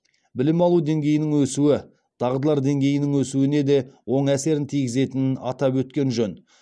білім алу деңгейінің өсуі дағдылар деңгейінің өсуіне де оң әсерін тигізетінін атап өткен жөн